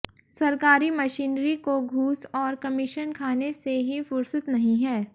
सरकारी मषीनरी को घूस और कमीषन खाने से ही फुर्सत नहीं है